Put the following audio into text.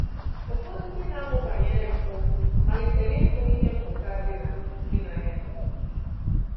Ụfọdụ ndị na-amụ banyere mpụ malitere ịhụ ihe mmụta dị na dị na ya.